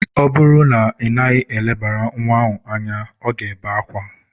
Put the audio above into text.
Ọ bụrụ na ị naghị elebara nwa ahụ anya, ọ ga-ebe akwa.